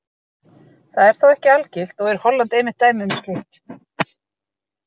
Það er þó ekki algilt og er Holland einmitt dæmi um slíkt.